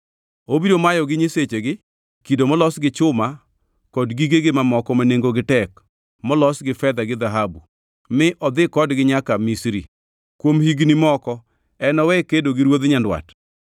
Obiro mayogi nyisechegi, kido molos gi chuma kod gigegi mamoko ma nengogi tek molos gi fedha gi dhahabu mi odhi kodgi nyaka Misri. Kuom higni moko enowe kedo gi ruodh Nyandwat.